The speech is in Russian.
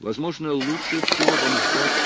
возможно лучше всего вам ждать